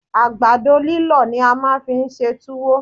Àgbàdo líllọ̀ ni a máa fi ń ṣe túwó